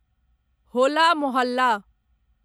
होला मोहल्ला